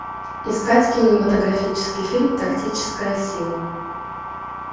искать кинематографический фильм тактическая сила